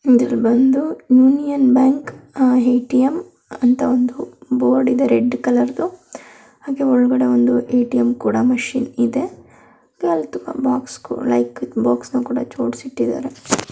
ಇದರಲ್ಲಿ ಬಂದು union bank ATM ಅಂತ ಒಂದು ಬೋರ್ಡ್ ಇದೆ ರೆಡ್ ಕಲರದು ಹಾಗೇ ಒಳಗಡೆ ಒಂದು ಮೆಷಿನ್ ಕೂಡಾ ಇದೆ .]